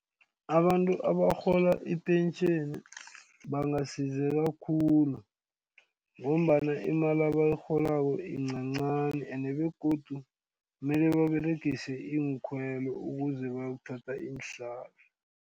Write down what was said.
Abantu abarhola ipentjheni bangasizeka khulu ngombana imali abayirholako yincancani ende begodu mele baberegise iinkhwelo ukuze bayokuthatha iinhlahla.